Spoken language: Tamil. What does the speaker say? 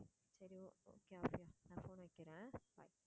சரி okay நான் phone வைக்கிறேன் bye